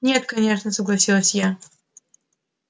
нет конечно согласилась я